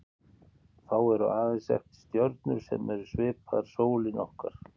Þá eru aðeins eftir stjörnur sem eru svipaðar sólinni okkar.